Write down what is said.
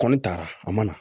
Kɔni taara a ma na